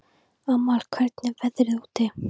Amal, hvernig er veðrið úti?